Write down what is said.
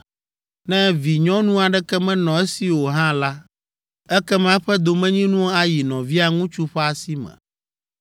Ne vinyɔnu aɖeke menɔ esi o hã la, ekema eƒe domenyinu ayi nɔvia ŋutsu ƒe asi me.